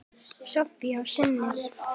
Soffía og synir.